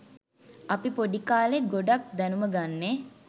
අපි පොඩි කාලේ ගොඩක් දැනුම ගන්නේ